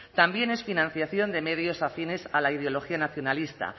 también es financiación de medios afines a la ideología nacionalista